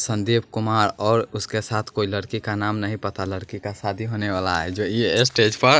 संदीप कुमार और उसके साथ कोई लड़की का नाम नहीं पता लड़की का शादी होने वाला हैं जो ये स्टेज पर--